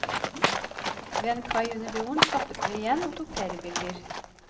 Ved en kai under broen stoppet vi igjen og tok flere bilder.